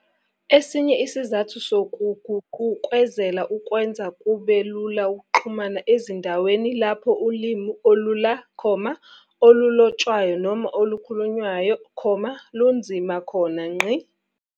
Esinye isizathu sokuguqukezela ukwenza kube lula ukuxhumana ezindaweni lapho ulimi olula, olulotshwayo noma olukhulunywayo, lunzima khona.